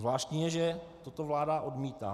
Zvláštní je, že toto vláda odmítá.